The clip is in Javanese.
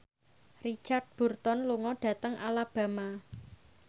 Richard Burton lunga dhateng Alabama